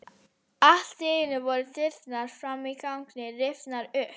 Allt í einu voru dyrnar fram á ganginn rifnar upp.